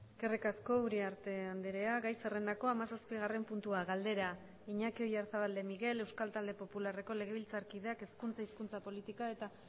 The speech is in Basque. eskerrik asko uriarte andrea gai zerrendako hamazazpigarren puntua galdera iñaki oyarzabal de miguel euskal talde popularreko legebiltzarkideak hezkuntza hizkuntza politika eta